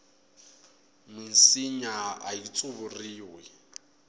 minsinya ayi tsuvuriwi